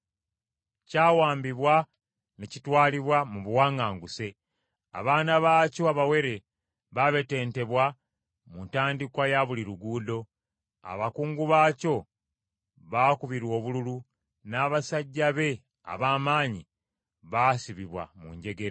Kyawambibwa, ne kitwalibwa mu buwaŋŋanguse. Abaana bwakyo abawere babetentebwa mu ntandikwa ya buli luguudo. Abakungu baakyo baakubirwa obululu, n’abasajja be ab’amaanyi baasibibwa mu njegere.